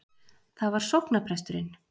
Það var sóknarpresturinn.